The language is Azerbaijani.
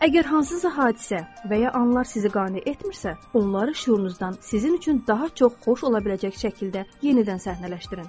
Əgər hansısa hadisə və ya anlar sizi qane etmirsə, onları şüurunuzdan sizin üçün daha çox xoş ola biləcək şəkildə yenidən səhnələşdirin.